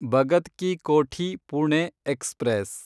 Bhagat Ki Kothi Pune express